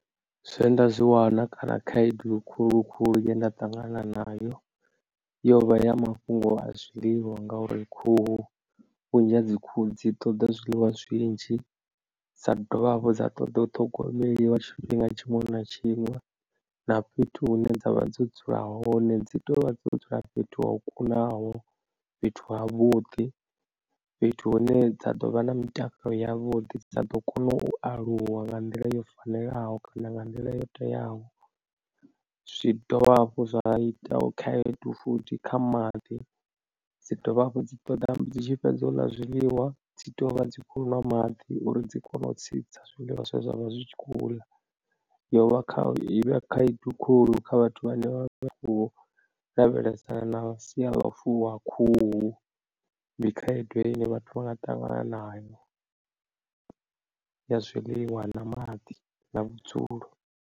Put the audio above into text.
Zwe nda zwi wana kana khaedu khulu khulu ye nda ṱangana nayo yo vha ya mafhungo a zwiḽiwa ngauri khuhu vhunzhi ha dzi khuhu dzi ṱoḓa zwiḽiwa zwinzhi dza dovha hafhu dza ṱoḓa u ṱhogomeliwa tshifhinga tshiṅwe na tshiṅwe na fhethu hune dza vha dzo dzula hone dzi to vha dzo dzula fhethu ho kunaho fhethu ha vhuḓi fhethu hune dza ḓovha na mitakalo yavhuḓi dza ḓo kona u aluwa nga nḓila yo fanelaho kana nga nḓila yo teaho zwi dovha hafhu zwa ita khaedu futhi kha maḓi dzi dovha hafhu dzi ṱoḓa dzi tshi fhedza u ḽa zwiḽiwa. Dzi tea u vha dzi khou nwa maḓi uri dzi kone u tsitsa zwiḽiwa zwe zwa vha zwi tshi khou ḽa yo vha i vhe khaedu khou kha vhathu vhane vha vha u lavhelesana na sia ḽa u fuwa khuhu dzi khaedu ine vhathu vha nga ṱangana nayo ya zwiḽiwa na maḓi na vhudzulo.